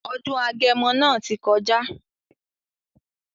Ọdún eégún agẹmọ máa tí kọjá.